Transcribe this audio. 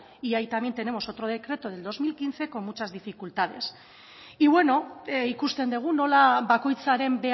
y ahí también tenemos otro decreto del dos mil quince con muchas dificultades y bueno ikusten dugu nola bakoitzaren